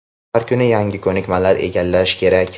Har kuni yangi ko‘nikmalar egallash kerak.